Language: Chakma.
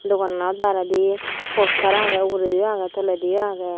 dogananot baredi poster aagey ugureediyo aagey tolediyo aagey.